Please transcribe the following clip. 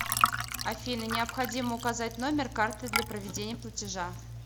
афина необходимо указать номер карты для проведения платежа